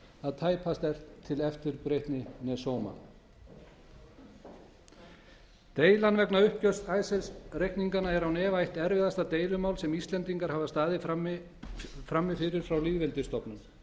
að tæpast er til eftirbreytni né sóma deilan vegna uppgjörs icesave reikninganna er án efa eitt erfiðasta deilumál sem íslendingar hafa staðið frammi frá lýðveldisstofnun